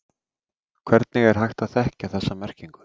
Hvernig er hægt að þekkja þessa merkingu?